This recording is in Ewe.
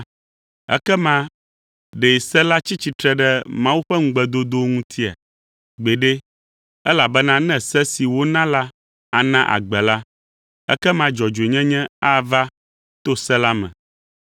Ekema ɖe se la tsi tsitre ɖe Mawu ƒe ŋugbedodowo ŋutia? Gbeɖe! Elabena ne se si wona la ana agbe la, ekema dzɔdzɔenyenye ava to se la me.